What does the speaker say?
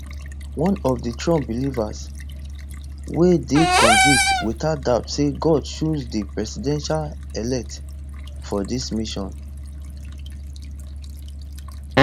na one of di trump believers wey dey convinced without doubt say god choose di presidentelect for dis mission